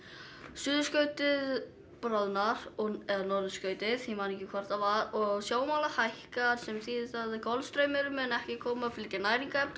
suðurskautið bráðnar eða norðurskautið ég man ekki hvort það var og sjávarmálið hækkar sem þýðir það að Golfstraumurinn mun ekki koma og flytja næringarefni